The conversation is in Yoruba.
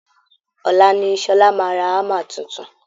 Ọ̀la niSọla máa ra hammer tuntun